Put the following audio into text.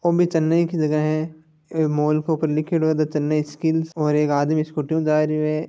चैनई की जगह है ये मॉल के ऊपर लिखेड़ो है द चैनई स्किल है। और एक आदमी साइकिल हु जारो है।